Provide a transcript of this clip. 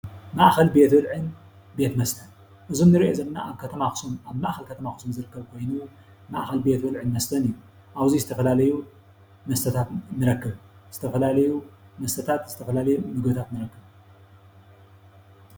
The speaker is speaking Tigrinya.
ማእከል ቤት ብልዕን ቤት መስተን እዚ እንርእዩ ዘለና ኣብ ከተማ ኣክሱም ኣብ ማእከል ከተማ ኣክሱም ዝርከብ ኮይኑ ማእከል ቤት ብልዕን ቤት መስተን እዩ። ኣብዚ ዝተፈላለዩ መስተታት ንረክብ ዝተፈላለዩ መስተታት ዝተፈላለዩ ምግብታት ንረክብ።